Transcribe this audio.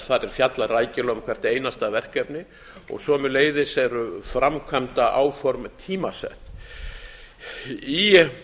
þar er fjallað rækilega um hvert einasta verkefni og sömuleiðis eru framkvæmdaáform tímasett í